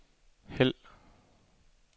hæld